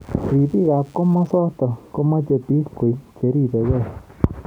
Robik ab kimosotok komeche bik koek cheribeki.